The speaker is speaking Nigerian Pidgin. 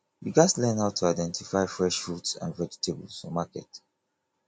we gats learn how to identify fresh fruits and vegetables for market